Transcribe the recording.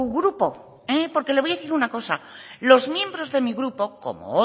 grupo porque le voy a decir una cosa los miembros de mi grupo como